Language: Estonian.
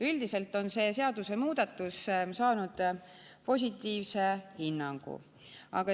Üldiselt on see seadusemuudatus saanud positiivse hinnangu.